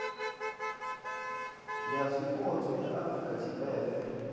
ya zwipotso ya afurika tshipembe